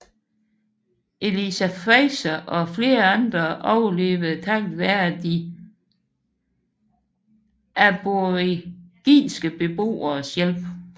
Eliza Fraser og flere andre overlevede takket være de aboriginske beboeres hjælp